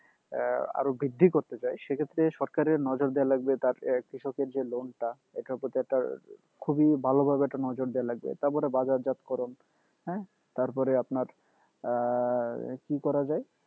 আহ আরও বৃদ্ধি করতে চায় সেক্ষেত্রে সরকারের নজর দেওয়া লাগবে তার আহ কৃষকের যে loan টা এটার প্রতি একটা খুবই ভালভাবে একটা নজর দেওয়া লাগবে তারপরে বাজারজাতকরণ হ্যাঁ তারপরে আপনার আহ কি করা যায়